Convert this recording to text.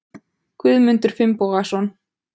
Guðmundur Finnbogason